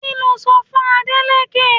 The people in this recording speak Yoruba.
Kí lo sọ fún Adeleke?